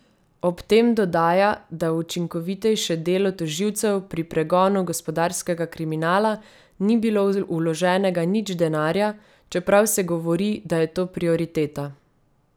Ob tem dodaja, da v učinkovitejše delo tožilcev pri pregonu gospodarskega kriminala ni bilo vloženega nič denarja, čeprav se govori, da je to prioriteta.